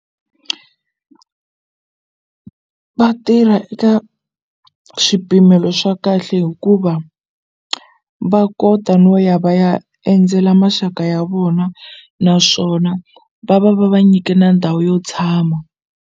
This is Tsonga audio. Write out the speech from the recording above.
Va tirha eka swipimelo swa kahle hikuva va kota no ya va ya endzela maxaka ya vona naswona va va va va nyike na ndhawu yo tshama.